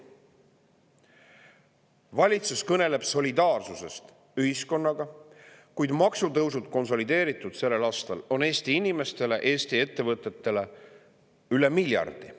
Valitsus kõneleb solidaarsusest ühiskonnaga, kuid maksutõusud moodustavad tänavu Eesti inimestele, Eesti ettevõtetele konsolideeritult üle miljardi.